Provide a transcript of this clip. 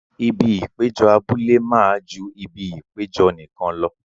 Ibi ìpéjọ abúlé máa ju ibi ìpéjọ nìkan lọ.